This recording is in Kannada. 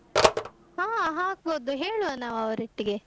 ಹಾ ಹಾಕ್ಬೋದು, ಹೇಳುವ ನಾವ್ ಅವರೊಟ್ಟಿಗೆ.